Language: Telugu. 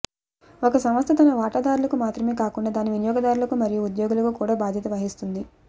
ఒక సంస్థ తన వాటాదారులకు మాత్రమే కాకుండా దాని వినియోగదారులకు మరియు ఉద్యోగులకు కూడా బాధ్యత వహిస్తుంది